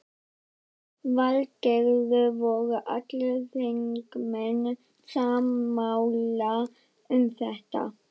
Lillý Valgerður: Voru allir þingmenn sammála um þetta?